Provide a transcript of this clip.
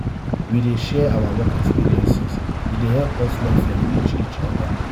we dey share our work experiences e dey help us learn from each each oda.